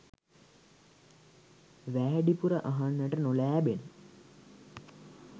වෑඩිපුර අහන්ට නොලෑබෙන